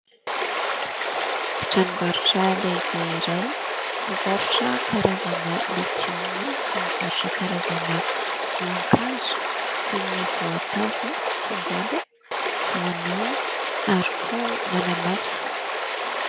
Tranom-barotra lehibe iray mivarotra karazana legioma sy mivarotra karazana voankazo toy ny: voatavo, tongolo, voanio ary koa mananasy.